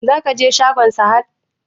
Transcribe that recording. Za ka je shagon Sahad?